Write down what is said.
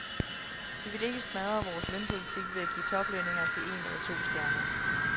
Vi vil ikke smadre vores lønpolitik ved at give toplønninger til en eller to stjerner.